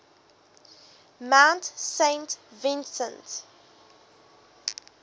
mount saint vincent